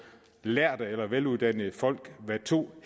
lærde eller veluddannede folk hvad to